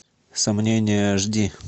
сомнения аш ди